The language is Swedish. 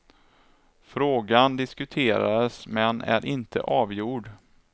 Frågan diskuterades, men är inte avgjord.